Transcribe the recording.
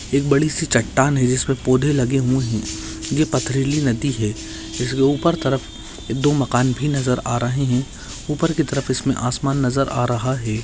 एक बड़ी सी चट्टान है जिसपे पौधे लगे हुए है। ये पथरीली नदी है। जिसके ऊपर तरफ दो भी नजर आ रहे है। ऊपर क तरफ इसमे आसमान नजर आ रहा है।